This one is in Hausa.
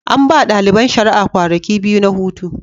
An ba ɗaliban shari'a kwanaki biyu na hutu.